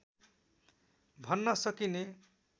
भन्न सकिने